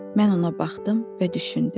Mən ona baxdım və düşündüm.